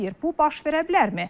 Bu baş verə bilərmi?